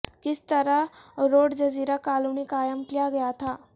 کس طرح روڈڈ جزیرہ کالونی قائم کیا گیا تھا